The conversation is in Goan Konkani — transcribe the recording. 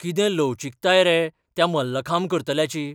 कितें लवचीकताय रे त्या मल्लखांब करतल्याची!